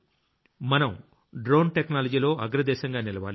మనం డ్రోన్ Technologyలో అగ్ర దేశంగా నిలవాలి